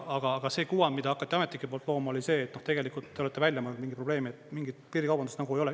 Aga see kuvand, mida hakati ametnike poolt looma, oli see, et tegelikult te olete välja mõelnud mingi probleemi, et mingit piirikaubandust nagu ei ole.